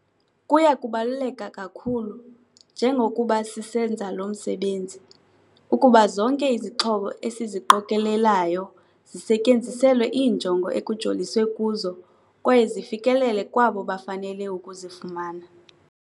"Kuya kubaluleka kakhulu, njengokuba sisenza lo msebenzi, ukuba zonke izixhobo esiziqokelelayo zisetyenziselwe iinjongo ekujoliswe kuzo kwaye zifikelele kwabo bafanele ukuzifumana."